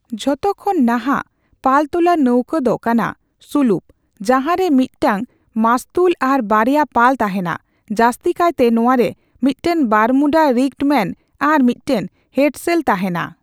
ᱡᱷᱚᱛᱚ ᱠᱷᱚᱱ ᱱᱟᱦᱟᱜ ᱯᱟᱞᱛᱳᱞᱟ ᱱᱟᱹᱣᱠᱟᱹ ᱫᱚ ᱠᱟᱱᱟ ᱥᱩᱞᱩᱯ, ᱡᱟᱦᱟᱸ ᱨᱮ ᱢᱤᱫ ᱴᱟᱝ ᱢᱟᱥᱛᱩᱞ ᱟᱨ ᱵᱟᱨᱭᱟ ᱯᱟᱞ ᱛᱟᱦᱮᱱᱟ, ᱡᱟᱹᱥᱛᱤᱠᱟᱭ ᱛᱮ ᱱᱚᱣᱟ ᱨᱮ ᱢᱤᱫᱴᱟᱝ ᱵᱟᱨᱢᱩᱰᱟ ᱨᱤᱜᱽᱰ ᱢᱮᱱ ᱟᱨ ᱢᱤᱫᱴᱟᱝ ᱦᱮᱰᱥᱮᱞ ᱛᱟᱦᱮᱱᱟ ᱾